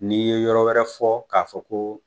N'i ye yɔrɔ wɛrɛ fɔ k'a fɔ ko